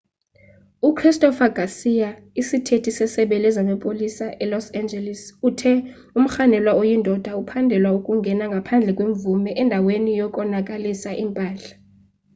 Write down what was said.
uchristopher garcia isithethi sesebe lezamapolisa elos angeles uthe umrhanelwa oyindoda uphandelwa ukungena ngaphandle kwemvume endaweni yokonakalisa impahla